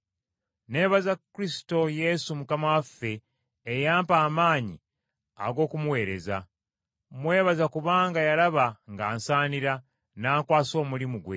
Neebaza Kristo Yesu Mukama waffe eyampa amaanyi ag’okumuweereza. Mwebaza kubanga yalaba nga nsaanira, n’ankwasa omulimu gwe.